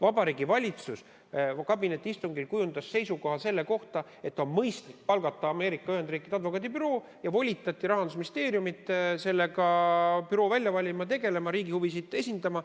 Vabariigi Valitsus võttis kabinetiistungil seisukoha, et on mõistlik palgata Ameerika Ühendriikide advokaadibüroo, ja volitati Rahandusministeeriumi büroo välja valima, riigi huvisid esindama.